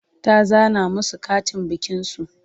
ta zana masu Katin bikin su